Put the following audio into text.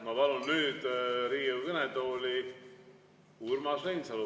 Ma palun nüüd Riigikogu kõnetooli Urmas Reinsalu.